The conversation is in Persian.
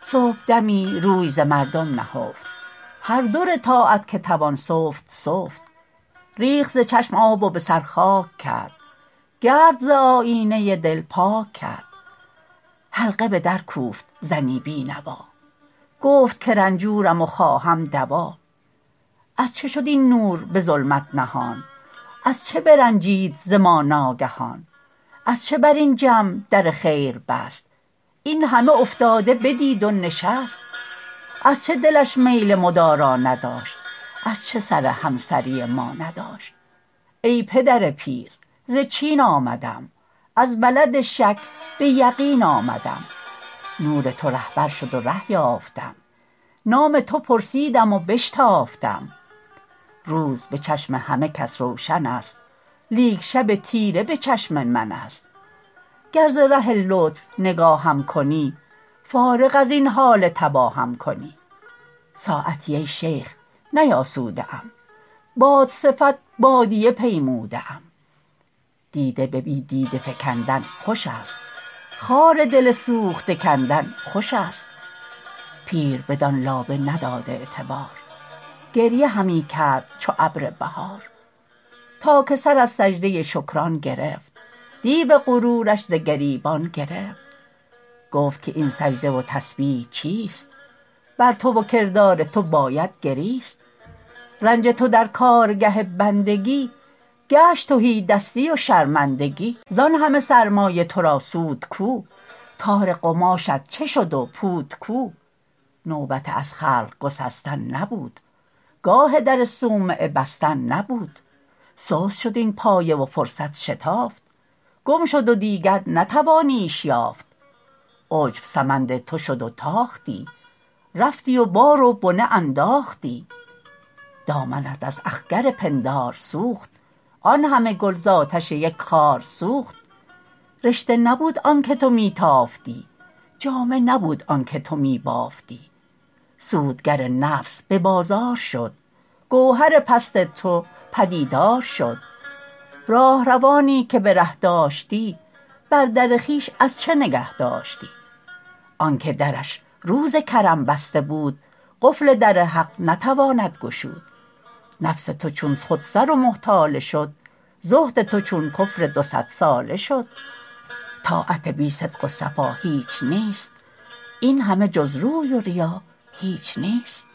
صبحدمی روی ز مردم نهفت هر در طاعت که توان سفت سفت ریخت ز چشم آب و بسر خاک کرد گرد ز آیینه دل پاک کرد حلقه بدر کوفت زنی بی نوا گفت که رنجورم و خواهم دوا از چه شد این نور بظلمت نهان از چه برنجید ز ما ناگهان از چه بر این جمع در خیر بست اینهمه افتاده بدید و نشست از چه دلش میل مدارا نداشت از چه سر همسری ما نداشت ای پدر پیر ز چین آمدم از بلد شک به یقین آمدم نور تو رهبر شد و ره یافتم نام تو پرسیدم و بشتافتم روز بچشم همه کس روشنست لیک شب تیره بچشم منست گر ز ره لطف نگاهم کنی فارغ ازین حال تباهم کنی ساعتی ای شیخ نیاسوده ام باد صفت بادیه پیموده ام دیده به بی دیده فکندن خوش است خار دل سوخته کندن خوش است پیر بدان لابه نداد اعتبار گریه همی کرد چو ابر بهار تا که سر از سجده شکران گرفت دیو غرورش ز گریبان گرفت گفت که این سجده و تسبیح چیست بر تو و کردار تو باید گریست رنج تو در کارگه بندگی گشت تهی دستی و شرمندگی زان همه سرمایه ترا سود کو تار قماشت چه شد و پود کو نوبت از خلق گسستن نبود گاه در صومعه بستن نبود سست شد این پایه و فرصت شتافت گم شد و دیگر نتوانیش یافت عجب سمند تو شد و تاختی رفتی و بار و بنه انداختی دامنت از اخگر پندار سوخت آنهم گل زاتش یک خار سوخت رشته نبود آنکه تو میتافتی جامه نبود آنکه تو میبافتی سودگر نفس به بازار شد گوهر پست تو پدیدار شد راهروانی که بره داشتی بر در خویش از چه نگهداشتی آنکه درش روز کرم بسته بود قفل در حق نتواند گشود نفس تو چون خودسر و محتاله شد زهد تو چون کفر دو صد ساله شد طاعت بی صدق و صفا هیچ نیست اینهمه جز روی و ریا هیچ نیست